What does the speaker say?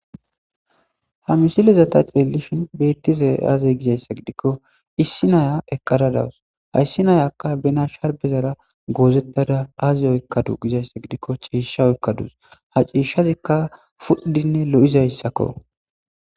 Ha misilezata xeelishin beettize aazey gizayssa gidikko issi naya eqqara dawus hayssi nayakka bena shalbezara goozettada aazi oykkadu gizayssa gidikko ciisha oykkaduus ha ciishshazikka fudhdinne lo'izayssakko